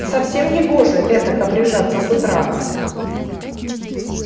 совсем негоже этак обряжаться с утра